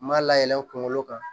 N m'a layɛlɛn kunkolo kan